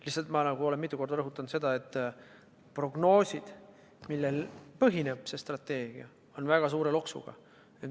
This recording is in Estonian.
Lihtsalt, ma olen mitu korda rõhutanud seda, et prognoosid, millel see strateegia põhineb, on väga suure loksuga.